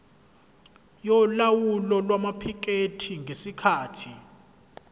yolawulo lwamaphikethi ngesikhathi